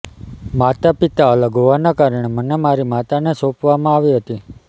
માતા પિતા અલગ હોવાનાં કારણે મને મારી માતાને સોંપવામાં આવી હતી